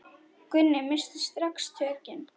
Gunni missti strax tökin.